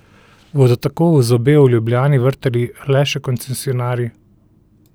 Bodo tako v zobe v Ljubljani vrtali le še koncesionarji?